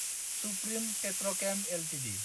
supreme Petrochem Ltd